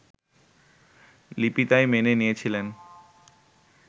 লিপি তাই মেনে নিয়েছিলেন